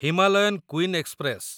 Himalayan queen express